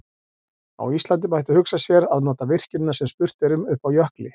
Á Íslandi mætti hugsa sér að nota virkjunina sem spurt er um uppi á jökli.